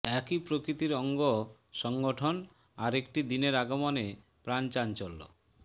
একই প্রকৃতির অঙ্গ সংগঠন আর একটি দিনের আগমনে প্রাণ চাঞ্চল্য